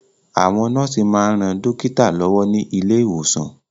Àwọn nọ́ọ̀sì máa ń ran dókítà lọ́wọ́ ní ilé ìwòsàn